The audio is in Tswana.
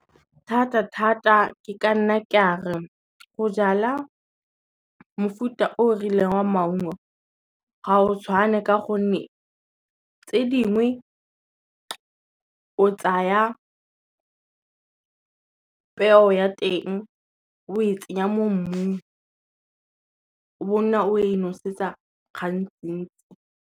Thata thata ke ka nna ke a re, go jala mofuta o o rileng wa maungo ga o tshwane ka gonne, tse dingwe o tsaya peo ya teng o e tsenya mo mmung, o bonna o e nosetsa gantsi ntsi.